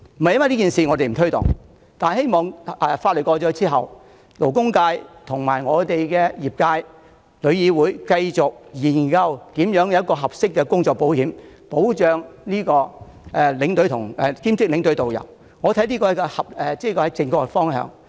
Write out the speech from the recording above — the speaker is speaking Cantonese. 在《條例草案》獲得通過後，我希望勞工界、旅遊業界和旅議會能夠繼續研究如何提供合適的工作保險，保障兼職領隊和導遊，這才是正確方向。